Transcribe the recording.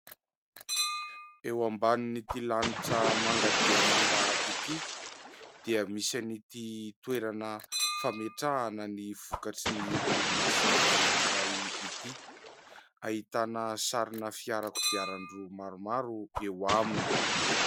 Eo ambanin'ity lanitra manga dia manga ity dia misy an'ity toerana fametrahana ny vokatry ny oronasa anakiray ity. Ahitana sarina fiara kodiaran-droa maromaro eo aminy.